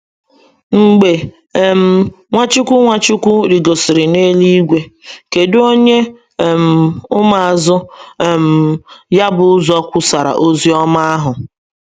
Mgbe um Nwachukwu Nwachukwu rịgosịrị n’eluigwe, kedụ onye um ụmụazụ um ya bụ ụzọ kwusaara ozi ọma ahụ?